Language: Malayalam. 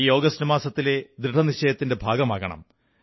ഈ ആഗസ്റ്റ്മാസത്തിലെ ദൃഢനിശ്ചയത്തിന്റെ ഭാഗമാകണം